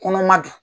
Kɔnɔma don